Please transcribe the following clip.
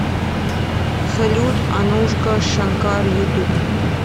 салют анушка шанкар ютуб